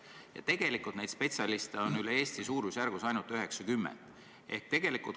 Ja neid spetsialiste on üle Eesti suurusjärgus ainult 90.